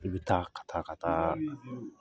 I bi taa ka taa ka t'a